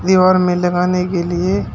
दीवार में लगाने के लिए --